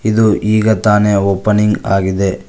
ಇದು ಈಗ ತಾನೆ ಓಪನಿಂಗ್ ಆಗಿದೆ.